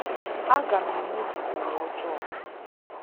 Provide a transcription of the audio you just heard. A ga m emebi ụwa ojoo a.